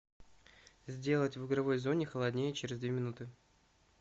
сделать в игровой зоне холоднее через две минуты